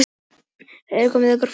Myrti kærustuna og gróf í fangelsi